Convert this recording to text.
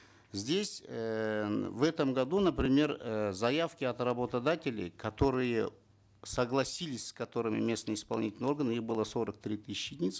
здесь эээ в этом году например э заявки от работодателей которые согласились с которыми местные исполнительные органы их было сорок три тысячи единиц